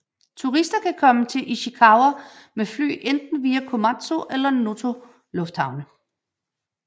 Turister kan komme til Ishikawa med fly via enten Komatsu eller Noto lufthavne